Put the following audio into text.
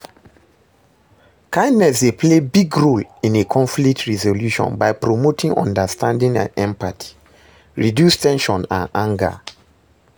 kindness dey play big role in a conflict resolution by promoting understanding and empathy, reduce ten sion and anger.